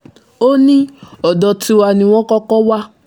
ó ní ọ̀dọ̀ tiwa ni wọ́n kọ́kọ́ wà